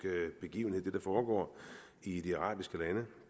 begivenhed altså det der foregår i de arabiske lande